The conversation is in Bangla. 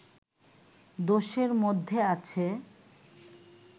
দোষের মধ্যে আছে